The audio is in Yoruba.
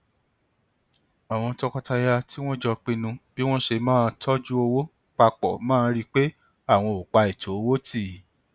àwọn tọkọtaya tí wọn jọ pinnu bí wọn ṣe máa tọjú owó pa pọ máa rí pé àwọn ò pa ètò owó tì